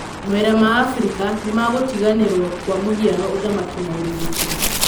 Mawĩra ma Afrĩka nĩ magũtiganĩro kwa mũhinao ũthamaki na ũrigiti.